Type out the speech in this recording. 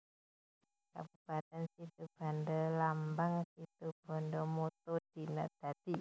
Kabupatèn SitubandaLambang SitubandaMotto Dina Dadi